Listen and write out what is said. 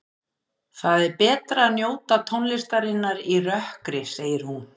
Það er betra að njóta tónlistarinnar í rökkri, segir hún.